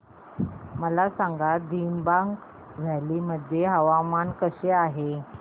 मला सांगा दिबांग व्हॅली मध्ये हवामान कसे आहे